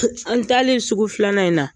An talen sugu filanan in na